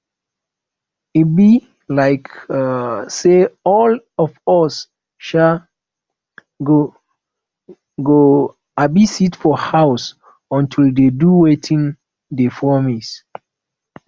e be um like say all of us um go go um sit for house until dey do wetin dey promise